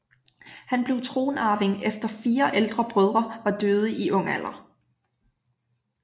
Han blev tronarving efter fire ældre brødre var døde i ung alder